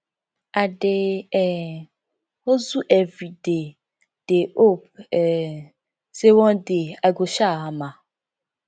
i just dey um hustle everyday dey hope um sey one day i go um hammer